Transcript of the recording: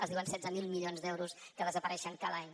es diuen setze mil milions d’euros que desapareixen cada any